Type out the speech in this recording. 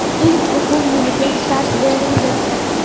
ilk o‘quv yiliga start berildi.